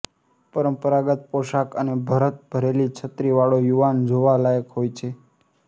પરંપરાગત પોષાક અને ભરત ભરેલી છત્રી વાળો યુવાન જોવા લાયક હોય છે